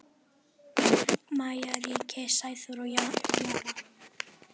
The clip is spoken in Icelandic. Maja, Ríkey, Sæþór og Jara.